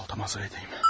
Baltamı hazır edim.